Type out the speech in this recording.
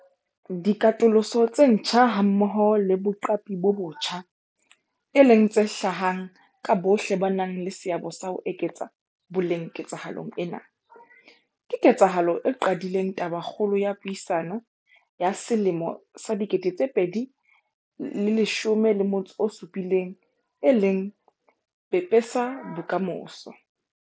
Dikatoloso tse ntjha hammoho le boqapi bo botjha, e leng tse hlahang ka bohle ba nang le seabo sa ho eketsa boleng ketsahalong ena, ke ketsahalo e qadileng tabakgolo ya puisano ya 2017 e leng 'Pepesa bokamoso'.